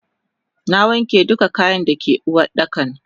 Nawanke duka kayan dake Uwardakan.